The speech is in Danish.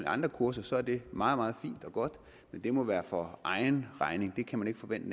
andre kurser er det meget meget fint og godt men det må være for egen regning det kan man ikke forvente